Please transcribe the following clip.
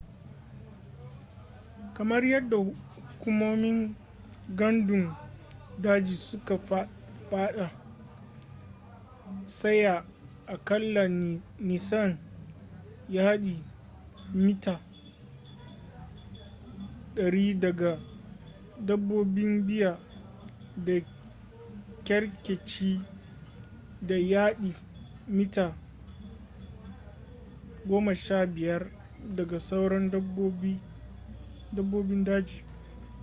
kamar yadda hukumomin gandun daji suka fada tsaya aƙalla nisan yadi/mita 100 daga dabbobin bear da kerkeci da yadi/mita 25 daga sauran dabbobin daji!